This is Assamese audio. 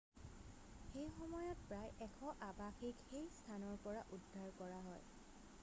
সেইসময়ত প্ৰায় 100 আবাসীক সেই স্থানৰ পৰা উদ্ধাৰ কৰা হয়